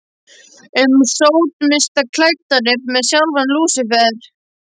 um sódómista klæddan upp sem sjálfan Lúsífer.